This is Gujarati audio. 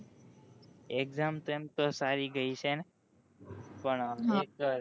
exam તો એમ તો સારી ગઈ છે પણ અ એક